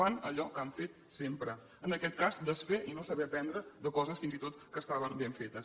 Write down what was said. fan allò que han fet sempre en aquest cas desfer i no saber aprendre de coses fins i tot que estaven ben fetes